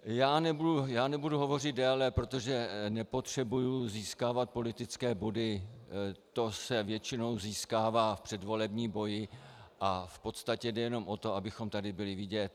Já nebudu hovořit déle, protože nepotřebuji získávat politické body, ty se většinou získávají v předvolebním boji a v podstatě jde jenom o to, abychom tady byli vidět.